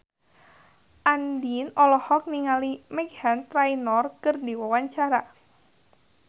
Andien olohok ningali Meghan Trainor keur diwawancara